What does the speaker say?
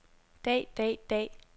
dag dag dag